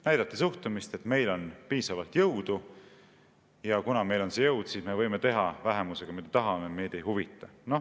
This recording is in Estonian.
Näidati suhtumist: "Meil on piisavalt jõudu, ja kuna meil on see jõud, siis me võime teha vähemusega, mida tahame, meid ei huvita.